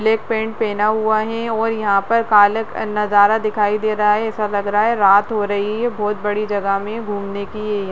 black pant पहना हुआ है और यहाँ पर कालक नजारा दिखाई दे रहा है ऐसा लग रहा रात हो रही है बहौत बड़ी जगह में घूमने की ये --